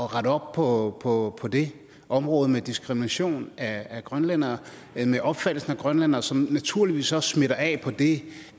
rette op på på det område med den diskrimination af grønlændere og den opfattelse af grønlændere som naturligvis også smitter af på det